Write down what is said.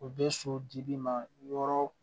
U bɛ so di bi ma yɔrɔ